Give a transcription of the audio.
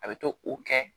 A bɛ to o kɛ